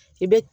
I bɛ